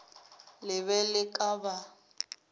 le be le ka ba